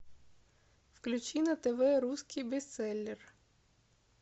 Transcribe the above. включи на тв русский бестселлер